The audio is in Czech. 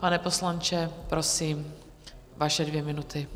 Pane poslanče, prosím, vaše dvě minuty.